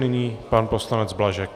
Nyní pan poslanec Blažek.